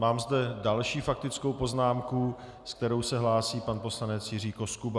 Mám zde další faktickou poznámku, se kterou se hlásí pan poslanec Jiří Koskuba.